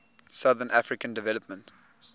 southern african development